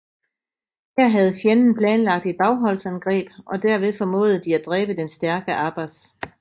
Her havde fjenden planlagt et bagholdsangreb og derved formåede de at dræbe den stærke Abbas